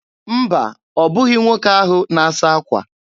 Mba, ọ bụghị nwoke ahụ na-asa akwa.